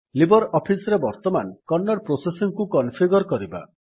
Libre office ରେ ବର୍ତ୍ତମାନ Kannada processing କୁ କନଫିଗର୍ କରିବା